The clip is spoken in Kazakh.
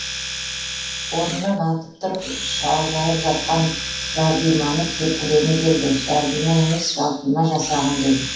орнымнан атып тұрып шалжайып жатқан жарбиманы тепкілегім келді жарбима емес жалпима жасағым келді